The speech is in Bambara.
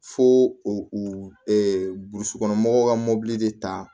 Fo o ɛ ɛ burusikɔnɔmɔgɔw ka mobili de ta